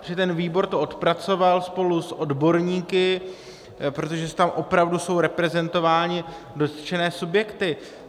Protože ten výbor to odpracoval spolu s odborníky, protože tam opravdu jsou reprezentovány dotčené subjekty.